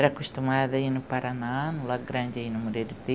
Era acostumada a ir no Paraná, no Lar Grande, no Moreiro